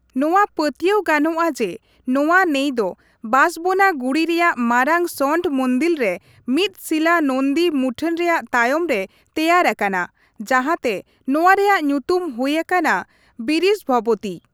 ᱱᱚᱣᱟ ᱯᱟᱹᱛᱣᱟᱹᱭ ᱜᱟᱱᱚᱜᱼᱟ ᱡᱮ, ᱱᱚᱣᱟ ᱱᱟᱹᱭ ᱫᱚ ᱵᱟᱥᱵᱚᱱᱟ ᱜᱩᱲᱤ ᱨᱮᱭᱟᱜ ᱢᱟᱨᱟᱝ ᱥᱚᱱᱰᱚ ᱢᱩᱱᱫᱤᱞ ᱨᱮ ᱢᱤᱫᱥᱤᱞᱟᱹ ᱱᱚᱱᱫᱤ ᱢᱩᱴᱷᱟᱹᱱ ᱨᱮᱭᱟᱜ ᱛᱟᱭᱚᱢᱨᱮ ᱛᱮᱭᱟᱨ ᱟᱠᱟᱱᱟ, ᱡᱟᱦᱟᱸᱛᱮ ᱱᱚᱣᱟ ᱨᱮᱭᱟᱜ ᱧᱩᱛᱩᱢ ᱦᱩᱭ ᱟᱠᱟᱱᱟ ᱵᱤᱨᱤᱥᱵᱷᱚᱵᱚᱛᱤ ᱾